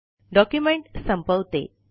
document संपवते